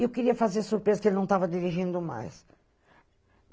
E eu queria fazer surpresa que ele não tava dirigindo mais.